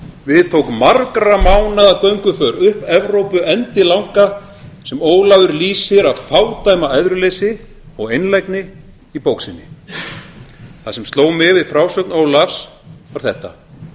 við tók margra mánaða gönguför upp evrópu endilanga sem ólafur lýsir af fádæma æðruleysi og einlægni í bók sinni það sem sló mig við frásögn ólafs var þetta